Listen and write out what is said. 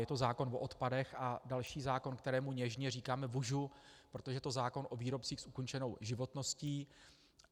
Je to zákon o odpadech a další zákon, kterému něžně říkáme "vužu", protože je to zákon o výrobcích s ukončenou životností.